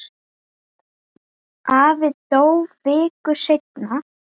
Afi dó viku seinna.